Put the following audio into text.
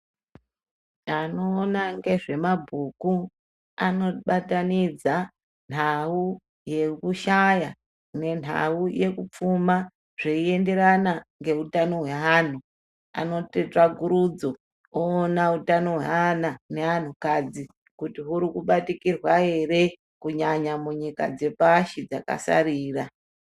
Anoona ngezvemabhuku anobatanidza nhau yekushaya nenhau yekupfuma zveienderana ngezveutano hweanhu, anoita tsvakurudzo oona utano hweana neanhukadzi kuti hurimubatikirwa ere kunyanya munyika dzepashi dzakasarira.